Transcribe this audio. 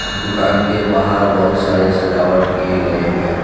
दुकान के बाहर बहुत सारे सजावट किए गए हैं।